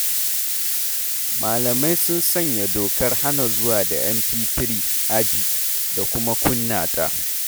Malamai sun sanya dokar hana zuwa da MP3 aji da kuma kunna ta.